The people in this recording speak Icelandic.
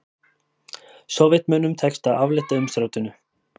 Sovétmönnum tekst að aflétta umsátrinu